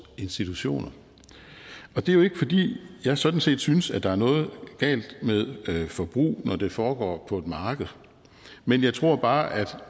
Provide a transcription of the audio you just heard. institutioner og det er jo ikke fordi jeg sådan set synes at der er noget galt med forbrug når det foregår på et marked men jeg tror bare at